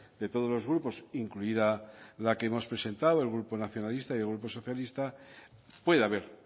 de todos los grupos incluida la que hemos presentado el grupo nacionalista y el grupo socialista puede haber